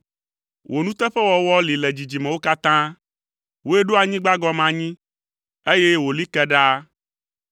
Wò nuteƒewɔwɔ li le dzidzimewo katã; wòe ɖo anyigba gɔme anyi, eye wòli ke ɖaa.